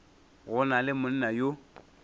go na le monna yo